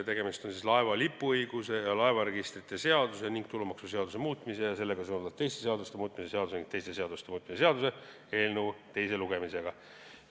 Tegemist on laeva lipuõiguse ja laevaregistrite seaduse ning tulumaksuseaduse muutmise ja sellega seonduvalt teiste seaduste muutmise seaduse ning teiste seaduste muutmise seaduse eelnõu teise lugemisega.